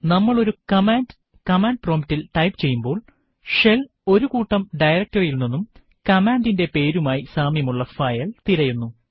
നമ്മൾ ഒരു command command promptൽ ടൈപ്പ് ചെയ്യുമ്പോൾ ഷെൽ ഒരു കൂട്ടം directory യിൽ നിന്നും കമ്മാൻഡിന്റെ പേരുമായി സാമ്യമുള്ള ഫയൽ തിരയുന്നു